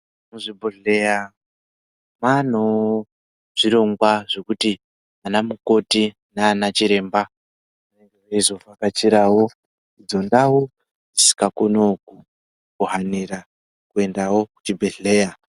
Muzvi bhodhleya manewo zvirongwa zvekuti ana mukoti nana chiremba ange eizo vhakachirawo idzo ndau dzisika koniwo ku hanira kuendawo ku chibhedhleya.